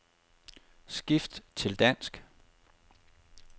Skift til dansk.